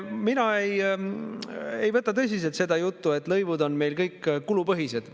Mina ei võta tõsiselt seda juttu, et lõivud on meil kõik kulupõhised.